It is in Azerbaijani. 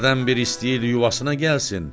Hərdən bir istəyirdi yuvasına gəlsin.